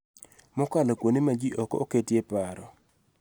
Mokalo kuonde ma ji ok oketie e paro